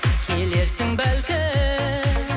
келерсің бәлкім